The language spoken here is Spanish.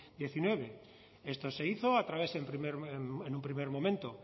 hemeretzi esto se hizo a través en un primer momento